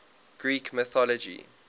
greek mythology